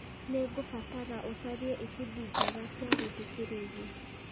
nĩ ngũbatara ũcarie ibindi njega cia gũthikĩrĩria